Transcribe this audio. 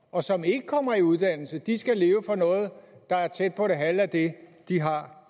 og som ikke kommer i uddannelse skal leve for noget der er tæt på det halve af det de har